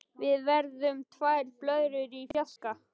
Við verðum tvær blöðrur í fjarska.